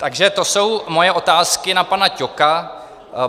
Takže to jsou moje otázky na pana Ťoka.